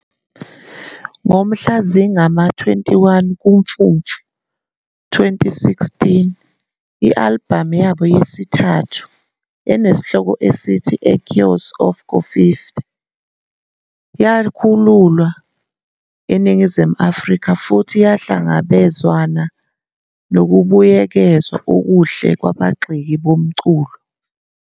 Ngomhla zingama-21 kuMfumfu, 2016, i-albhamu yabo yesithathu enesihloko esithi Echoes of Kofifi yakhululwa eNingizimu Afrika futhi yahlangabezwana nokubuyekezwa okuhle kwabagxeki bomculo.